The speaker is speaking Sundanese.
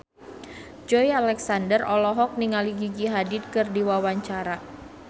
Joey Alexander olohok ningali Gigi Hadid keur diwawancara